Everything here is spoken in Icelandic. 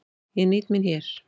Ég nýt mín hér.